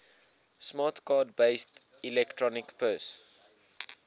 smart card based electronic purse